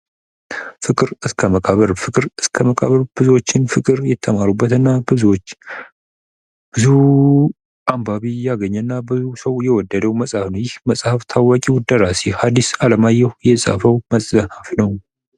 ፍቅር እስከ መቃብር ፍቅር እስከ መቃብር ብዙዎችን ፍቅር የተማሩበትና ብዙዎች ብዙ አንባቢ ያገኘና ብዙ ሰው የወደደው መጽሐፍ ነው። ይህ መጽሐፍ ታዋቂው ደራሲ ሀዲስ አለማየሁ የጻፈው መጽሐፍ ነው።